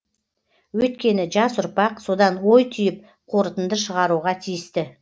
өйткені жас ұрпақ содан ой түйіп қорытынды шығаруға тиісті